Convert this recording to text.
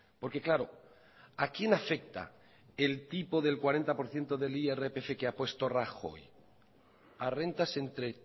porque claro a quién afecta el tipo del cuarenta por ciento del irpf que ha puesto rajoy a rentas entre